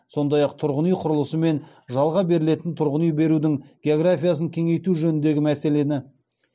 сондай ақ тұрғын үй құрылысы мен жалға берілетін тұрғын үй берудің географиясын кеңейту жөніндегі мәселені